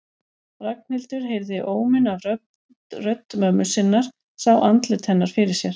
Ragnhildur heyrði óminn af rödd mömmu sinnar, sá andlit hennar fyrir sér.